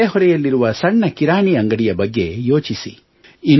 ನಿಮ್ಮ ನೆರೆಹೊರೆಯಲ್ಲಿರುವ ಸಣ್ಣ ಕಿರಾಣಿ ಅಂಗಡಿಯ ಬಗ್ಗೆ ಯೋಚಿಸಿ